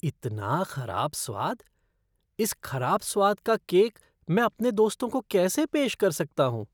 इतना खराब स्वाद! इस खराब स्वाद का केक मैं अपने दोस्तों को कैसे पेश कर सकता हूँ।